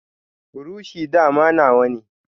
Buroshi dama nawane.